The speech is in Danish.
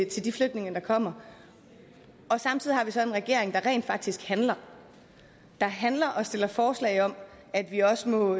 til de flygtninge der kommer og samtidig har vi så en regering der rent faktisk handler der handler og stiller forslag om at vi også må